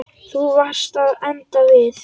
Þú varst að enda við.